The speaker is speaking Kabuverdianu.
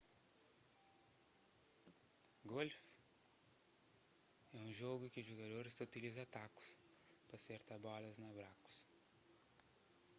golfu é un jogu ki jugadoris ta utiliza takus pa serta bolas na brakus